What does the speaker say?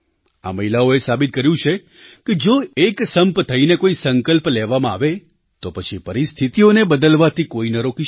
આ મહિલાઓએ સાબિત કર્યું છે કે જો એકસંપ થઈને કોઈ સંકલ્પ લેવામાં આવે તો પછી પરિસ્થિતિઓને બદલવાથી કોઈ ન રોકી શકે